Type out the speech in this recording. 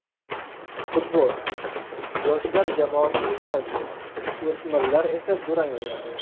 Futbol: Yoshlar jamoasi yutqazdi, o‘smirlar esa durang o‘ynadi.